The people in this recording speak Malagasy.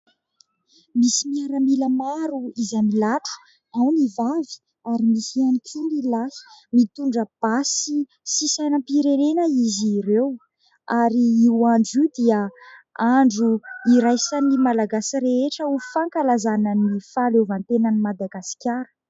Misy miaramila maro izay milatro, ao ny vavy ary misy ihany koa ny lahy. Mitondra basy sy sainam-pirenena izy ireo. Ary io andro io dia andro iraisan'ny Malagasy rehetra ho fankalazana ny fahaleovantenan'i Madagasikara.